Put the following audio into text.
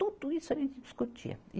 Tudo isso a gente discutia.